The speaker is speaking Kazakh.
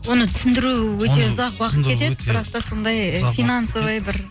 оны түсіндіру өте ұзақ уақыт кетеді бірақ та сондай ы финансовый бір